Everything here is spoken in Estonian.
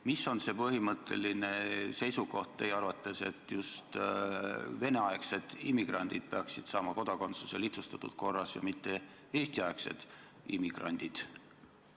Mis on see põhimõtteline seisukoht teie arvates, et just Vene-aegsed immigrandid peaksid saama kodakondsuse lihtsustatud korras ja mitte Eesti-aegsed immigrandid?